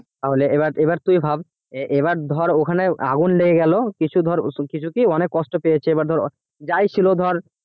তাহলে এবার এবার তুই ভাব এবার ধর ওখানে আগুন লেগে গেল কিছু ধর কিছু কি অনেক কষ্ট পেয়েছে এবার ধর যাই ছিল ধর